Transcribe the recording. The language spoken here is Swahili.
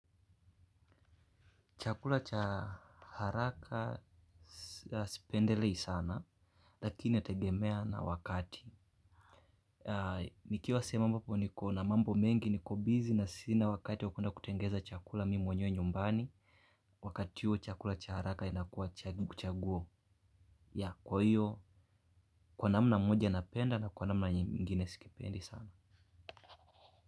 Chakula cha haraka sipendelei sana. Lakini yategemea na wakati. Nikiwa sehemu mbapo niko na mambo mengi niko busy na sina wakati wakuenda kutengeza chakula mimi mwenyewe nyumbani. Wakati huo chakula cha haraka inakuwa kuchaguo. Yeah kwa hiyo. Kwa namna moja napenda na kwa namna ingine sikipendi sana.